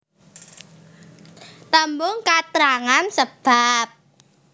Tembung katrangan sebab